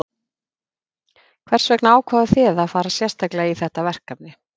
Hvers vegna ákváðu þið að fara sérstaklega í þetta verkefni?